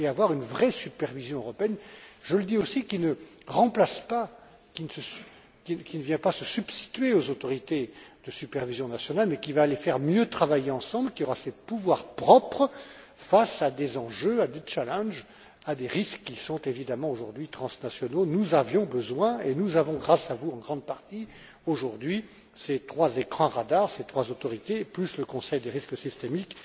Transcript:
d'une vraie supervision européenne, qui, je le dis aussi, ne vient pas se substituer aux autorités de supervision nationale mais qui va les faire mieux travailler ensemble, qui aura ses pouvoirs propres face à des enjeux, à des challenges à des risques qui sont évidemment aujourd'hui transnationaux. Nous avions besoin, et nous avons, grâce à vous, en grande partie aujourd'hui, ces trois écrans radars, ces trois autorités en plus du Conseil du risque systémique.